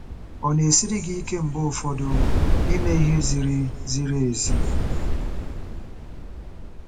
Ọ na-esiri gị ike mgbe ụfọdụ ime ihe ziri ziri ezi?